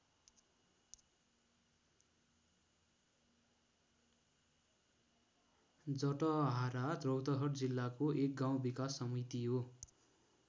जटहारा रौतहट जिल्लाको एक गाउँ विकास समिति हो।